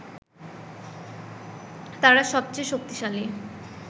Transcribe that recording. তারা সবচেয়ে শক্তিশালী